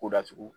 Ko datugu